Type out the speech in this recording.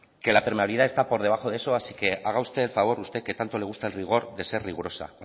que la permeabilidad está por debajo de eso así que haga usted el favor usted que tanto le gusta el rigor de ser rigurosa